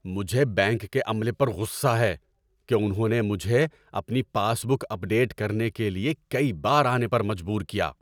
مجھے بینک کے عملے پر غصہ ہے کہ انہوں نے مجھے اپنی پاس بک اپ ڈیٹ کرنے کے لیے کئی بار آنے پر مجبور کیا۔